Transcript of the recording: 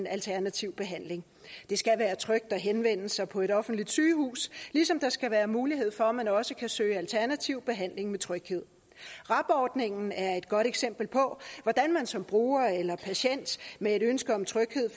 alternativ behandling det skal være trygt at henvende sig på et offentligt sygehus ligesom der skal være mulighed for at man også kan søge alternativ behandling med tryghed rab ordningen er et godt eksempel på hvordan man som bruger eller patient med et ønske om tryghed